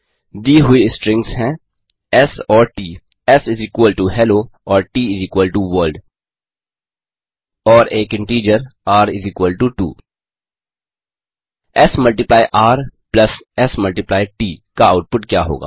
दी हुई स्ट्रिंग्स हैं एस और ट एस हेलो और T world and an integer R R 2 S multiply R plus S multiply T का output क्या होगा